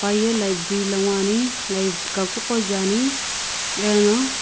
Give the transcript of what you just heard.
peye library lo nguni kaku ko jaeane ano.